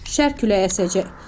Şərq küləyi əsəcək.